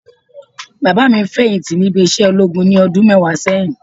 Bàbá mi feyinti níbi isẹ ológun ní ọdún mẹwa sẹ́yìn